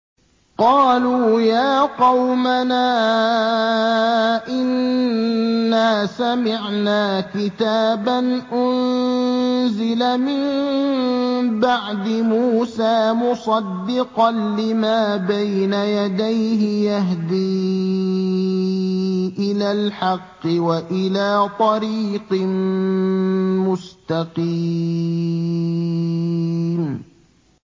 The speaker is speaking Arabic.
قَالُوا يَا قَوْمَنَا إِنَّا سَمِعْنَا كِتَابًا أُنزِلَ مِن بَعْدِ مُوسَىٰ مُصَدِّقًا لِّمَا بَيْنَ يَدَيْهِ يَهْدِي إِلَى الْحَقِّ وَإِلَىٰ طَرِيقٍ مُّسْتَقِيمٍ